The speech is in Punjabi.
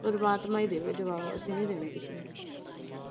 ਪਰਮਾਤਮਾ ਈ ਦੇਵੇ ਜਵਾਬ ਅਸੀਂ ਨਈਂ ਦੇਣੇ ਕਿਸੇ ਨੂੰ।